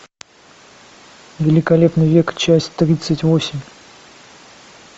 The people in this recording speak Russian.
великолепный век часть тридцать восемь